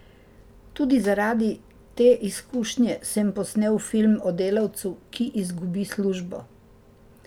Tudi zaradi te izkušnje sem posnel film o delavcu, ki izgubi službo.